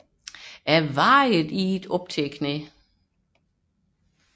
Jeg vadede i det op til knæene